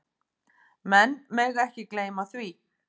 Menn mega ekki gleyma því.